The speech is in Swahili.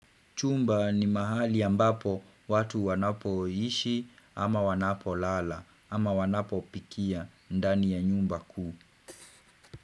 Chumba ni mahali ambapo watu wanapo ishi ama wanapo lala ama wanapo pikia ndani ya nyumba kuu.